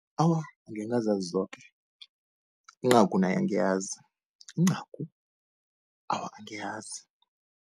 Awa, angekhe ngazazi zoke, incagu nayo angiyazi, incagu awa angiyazi.